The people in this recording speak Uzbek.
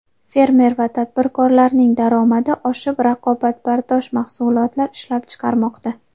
Fermer va tadbirkorlarning daromadi oshib, raqobatbardosh mahsulotlar ishlab chiqarmoqda.